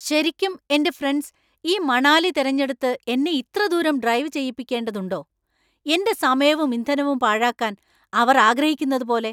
ശരിക്കും , എന്‍റെ ഫ്രണ്ട്സ് ഈ മണാലി തിരഞ്ഞെടുത്ത് എന്നെ ഇത്ര ദൂരം ഡ്രൈവ് ചെയ്യിപ്പിക്കേണ്ടതുണ്ടോ ? എന്‍റെ സമയവും ഇന്ധനവും പാഴാക്കാൻ അവർ ആഗ്രഹിക്കുന്നതുപോലെ!